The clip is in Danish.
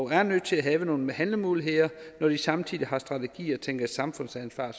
er nødt til at have nogle handlemuligheder når de samtidig har strategier og tænker i samfundsansvar